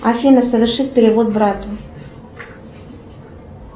афина совершить перевод брату